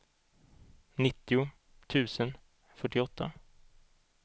nittio tusen fyrtioåtta